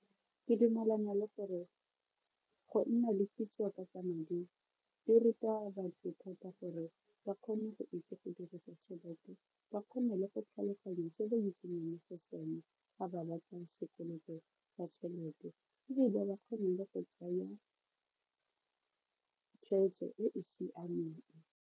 Ke dumalana le gore go nna le kitso ka tsa madi di ruta batho thata gore ba kgone go itse go dirisa tšhelete ba kgone le go tlhaloganya se ba itsenyang mo go sona ga ba batla sekoloto sa tšhelete ebile ba kgone le go tsaya tshweetso e e siameng.